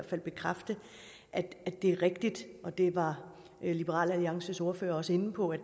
her bekræfte at det er rigtigt det var liberal alliances ordfører også inde på at